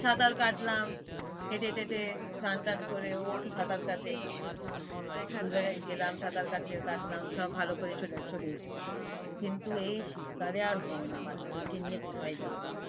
সাঁতার কাটলাম, কেটে টেটে চান টান করে অপু সাঁতার কাটে দুজনেই গেলাম সাঁতার কাতে~কাটলাম সব ভাল করে চল~চলে এসেছি। কিন্তু এই শীত কালে আর হয়না বাচ্চাদেরকে নিয়ে কোথায় যাব।